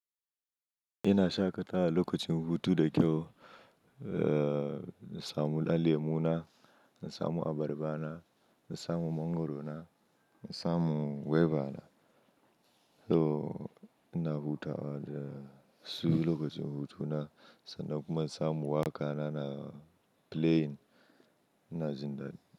Ina shaƙata lokacin hutu da kyau, eh, na samu ɗan lemu na, in samu abarba na, na samu mangwaro na, na samu gwaiba na. To ina hutawa su lokacin hutu na, sannan kuma na samu waka na na plane, ina jin daɗi.